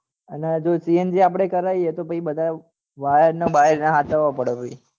અને જો cng આપડે કરાવીએ તો પહી બધા વાયર ને બાયર એને સાચવવો પડે પહી